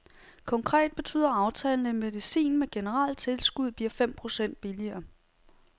Konkret betyder aftalen, at medicin med generelt tilskud bliver fem procent billigere.